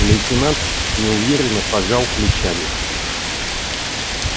лейтенант неуверенно пожал плечами